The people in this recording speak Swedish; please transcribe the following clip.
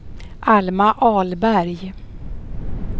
Alma Ahlberg